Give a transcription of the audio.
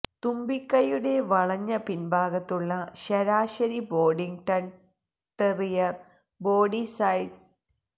തുമ്പിക്കൈയുടെ വളഞ്ഞ പിൻഭാഗത്തുള്ള ശരാശരി ബോഡിംഗ്ടൺ ടെറിയർ ബോഡി സൈസ്